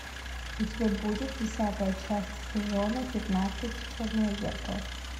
у тебя будет десятая часть сезона пятнадцать черное зеркало